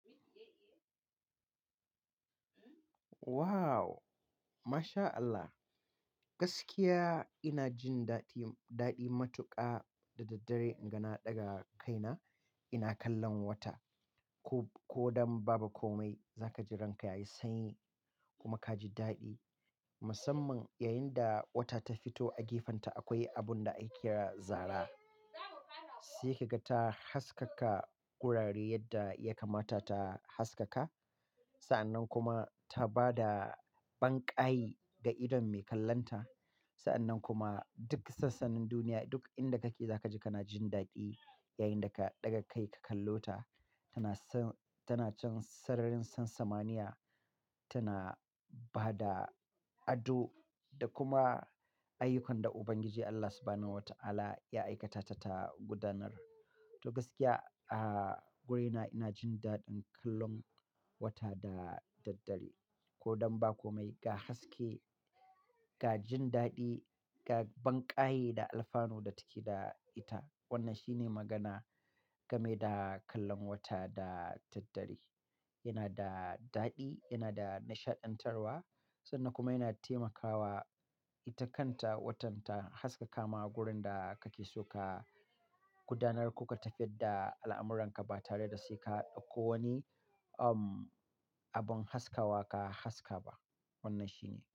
Wow! MashAllah. Gaskiya ina jin daɗi, daɗi matuƙa da daddare in ga na ɗaga kaina ina kallon wata. Ko, ko don ba komai za ka ji ranka yayi sanyi kuma ka ji daɗi. Musamman yayin da wata ta fito a gefenta akwai abun da ake kira zaara. Sai kaga ta haskaka wurare yadda ya kamata ta haskaka. Sa'annan kuma ta ba da banƙayi ga idon mai kallonta. Sa'annan kuma duk sassan duniya duk inda kake za ka ji kana jin daɗi yayin da ka ɗaga kai ka kallo ta. Tana can sararin sansamaniya, tana ba da ado da kuma ayyukan da Ubangiji Allah Subahanahu wa Ta'ala ya aikata ta ta gudanar. To gaskiya, a, wurina ina jin daɗin kallon wata da daddare. Ko don ba komai, ga haske, ga jin daɗi, ga banƙayi da alfanu da take da ita. Wannan shine magana game da kallon wata da daddare. Yana da daɗi, yana da nishaɗantarwa sannan kuma yana taimakawa ita kanta watan ta haskaka ma gurin da kake so ka gudanar ko ka tafiyar da al'amuranka ba tare da sai ka ɗauko wani, um, abin haskawa ka haska ba. Wannan shine.